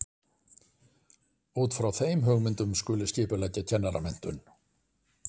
Út frá þeim hugmyndum skuli skipuleggja kennaramenntun.